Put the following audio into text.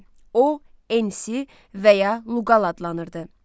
O ENSI və ya Luqal adlanırdı.